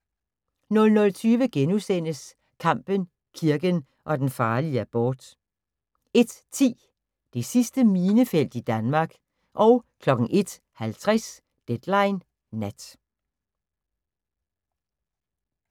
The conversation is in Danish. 00:20: Kampen, kirken og den farlige abort * 01:10: Det sidste minefelt i Danmark 01:50: Deadline Nat